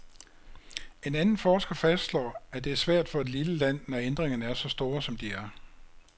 En anden forsker fastslår, at det er svært for et lille land, når ændringerne er så store, som de er.